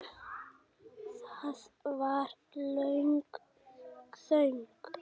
Það varð löng þögn.